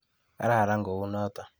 Kararan kuo noto.